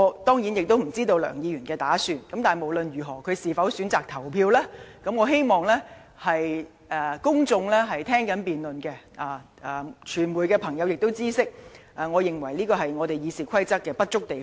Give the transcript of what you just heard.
當然，我也不知道梁議員將有何打算及是否選擇投票，但我希望正在收看這次辯論的公眾人士及傳媒朋友知悉，這是《議事規則》的不足之處。